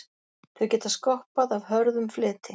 Þau geta skoppað af hörðum fleti.